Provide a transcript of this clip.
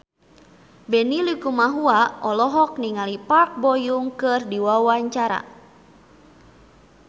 Benny Likumahua olohok ningali Park Bo Yung keur diwawancara